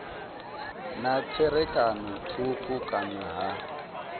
na tserakano thukhu kana ha